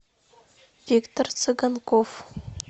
виктор цыганков